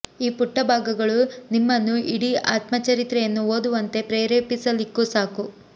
ಈ ಪುಟ್ಟ ಭಾಗಗಳು ನಿಮ್ಮನ್ನು ಇಡೀ ಆತ್ಮಚರಿತ್ರೆಯನ್ನು ಓದುವಂತೆ ಪ್ರೇರೇಪಿಸಲಿಕ್ಕೂ ಸಾಕು